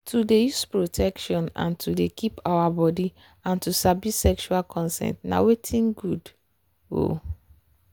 to dey use protection and to dey keep our body and to sabi sexual consent na watin good. um